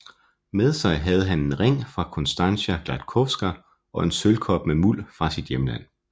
Med sig havde han en ring fra Konstancja Gładkowska og en sølvkop med muld fra sit hjemland